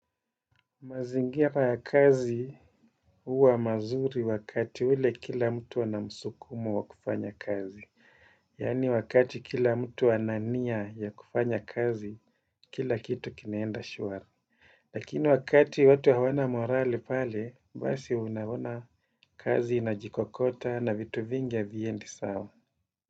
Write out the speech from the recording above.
Mazingira ya kazi uwa mazuri wakati ule kila mtu anamusukumo wa kufanya kazi. Yani wakati kila mtu ana nia ya kufanya kazi, kila kitu kinaenda shuari. Lakini wakati watu hawana morali pale, basi unaona kazi inajikokota na vitu vingi haviendi sawa.